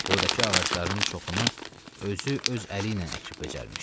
Buradakı ağacların çoxunu özü öz əli ilə əkib becərmişdi.